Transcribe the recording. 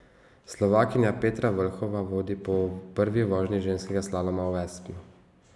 Slovakinja Petra Vlhova vodi po prvi vožnji ženskega slaloma v Aspnu.